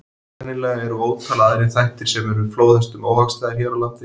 Sennilega eru ótal aðrir þættir sem eru flóðhestum óhagstæðir hér á landi.